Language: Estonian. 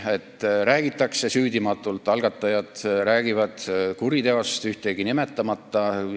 Algatajad räägivad süüdimatult kuriteost ühtegi konkreetset nimetamata.